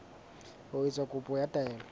ho etsa kopo ya taelo